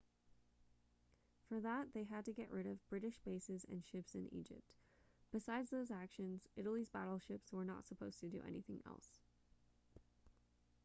for that they had to get rid of british bases and ships in egypt besides those actions italy's battleships were not supposed to do anything else